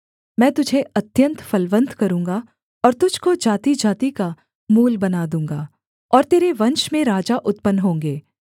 मैं तुझे अत्यन्त फलवन्त करूँगा और तुझको जातिजाति का मूल बना दूँगा और तेरे वंश में राजा उत्पन्न होंगे